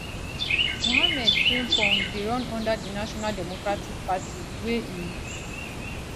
mohammed frimpong dey run under di national democratic party wey e